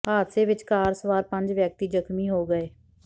ਹਾਦਸੇ ਵਿਚ ਕਾਰ ਸਵਾਰ ਪੰਜ ਵਿਅਕਤੀ ਜ਼ਖ਼ਮੀ ਹੋ ਗਏ